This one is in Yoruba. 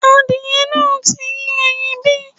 Adìyẹ náà ti yé ẹyin bí?